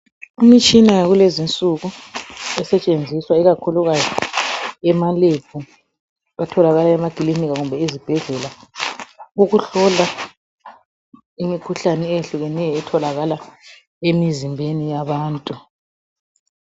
Imishina yakulezinsuku esetshenziswa ikakhulukazi emalebhu ,atholakala emakilinika kumbe ezibhedlela .Ukuhlola imikhuhlane eyehlukeneyo etholakala emizimbeni yabantu.